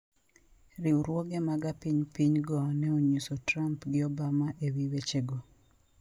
Riwruoge mag apinypiny go ne onyiso Trump gi Obama e wi weche go.